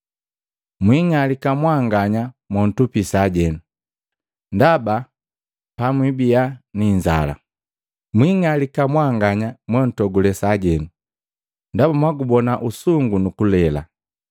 Mwingalika mwaanganya montupi sajeno, ndaba pamwibia ni inzala! Mwiing'alika mwanganya montogule sajenu, ndaba mwagubona usungu nukulela!”